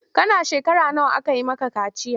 Kana shekara nawa aka yi maka kaciya?